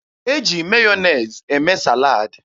E ji Meyọnez eme salad.